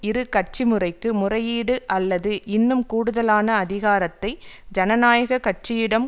இரு கட்சி முறைக்கு முறையீடு அல்லது இன்னும் கூடுதலான அதிகாரத்தை ஜனநாயக கட்சியிடம்